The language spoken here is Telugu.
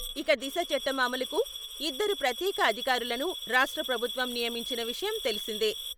ఇక దిశ చట్టం అమలుకు..ఇద్దరు ప్రత్యేక అధికారులను రాష్ట్ర ప్రభుత్వం నియమించిన విషయం తెలిసిందే.